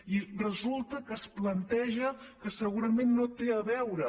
i resulta que es planteja que segurament no té a veure